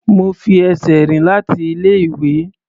Mo fi ẹsẹ̀ rìn láti ilé-ìwé.